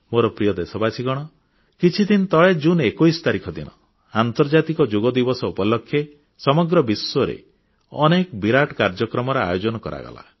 ମୋର ପ୍ରିୟ ଦେଶବାସୀ କିଛିଦିନ ତଳେ ଜୁନ 21 ତାରିଖ ଦିନ ଆନ୍ତର୍ଜାତିକ ଯୋଗ ଦିବସ ଉପଲକ୍ଷେ ସମଗ୍ର ବିଶ୍ୱରେ ଅନେକ ବିରାଟ କାର୍ଯ୍ୟକ୍ରମର ଆୟୋଜନ କରାଗଲା